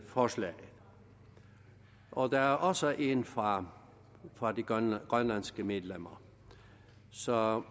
forslaget og der er også en fra fra de grønlandske medlemmer så